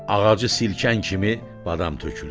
Ağacı silkən kimi badam tökülür.